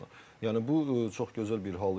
Yəni bu çox gözəl bir hal idi.